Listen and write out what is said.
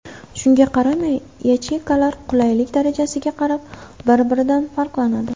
Shunga qaramay, yacheykalar qulaylik darajasiga qarab, bir-biridan farqlanadi.